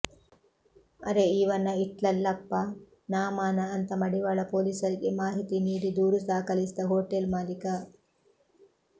ಅರೆ ಇವನ ಇಟ್ನಲ್ಲಪ್ಪಾ ನಾಮಾನ ಅಂತ ಮಡಿವಾಳ ಪೊಲೀಸರಿಗೆ ಮಾಹಿತಿ ನೀಡಿ ದೂರು ದಾಖಲಿಸಿದ್ದ ಹೋಟೆಲ್ ಮಾಲೀಕ